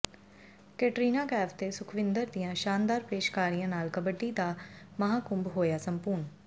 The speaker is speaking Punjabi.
ਕੈਟਰੀਨਾ ਕੈਫ ਤੇ ਸੁਖਵਿੰਦਰ ਦੀਆਂ ਸ਼ਾਨਦਾਰ ਪੇਸ਼ਕਾਰੀਆਂ ਨਾਲ ਕਬੱਡੀ ਦਾ ਮਹਾਕੁੰਭ ਹੋਇਆ ਸੰਪੂਰਨ